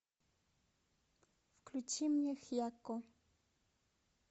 включи мне хьякко